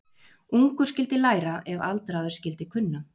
Ungur skyldi læra ef aldraður skyldi kunna.